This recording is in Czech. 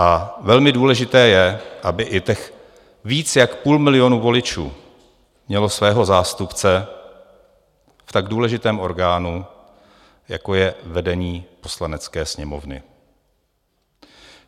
A velmi důležité je, aby i těch víc jak půl milionu voličů mělo svého zástupce v tak důležitém orgánu, jako je vedení Poslanecké sněmovny.